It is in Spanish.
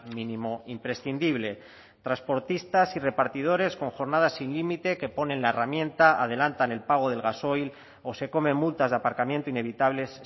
mínimo imprescindible transportistas y repartidores con jornadas sin límite que ponen la herramienta adelantan el pago del gasoil o se comen multas de aparcamiento inevitables